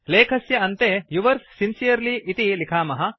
लेखस्य अन्ते yours sincerely इति लिखामः